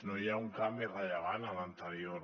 no hi ha un canvi rellevant amb l’anterior